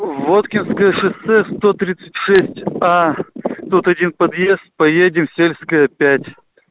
воткинское шоссе сто тридцать шесть тут один подъезд поедем в сельская пять